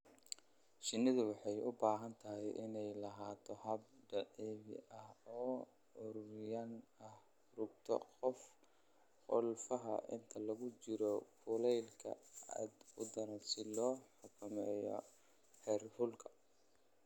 Shinnidu waxay u baahan tahay inay lahaato hab dabiici ah oo curyaan ah rugta qalfoofka inta lagu jiro kulaylka aadka u daran si loo xakameeyo heerkulka.